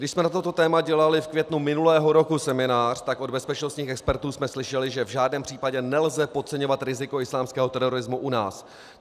Když jsme na toto téma dělali v květnu minulého roku seminář, tak od bezpečnostních expertů jsme slyšeli, že v žádném případě nelze podceňovat riziko islámského terorismu u nás.